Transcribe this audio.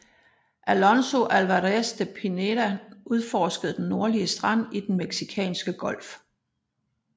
Alonso Álvarez de Pineda udforskede den nordlige strand i Den meksikanske Golf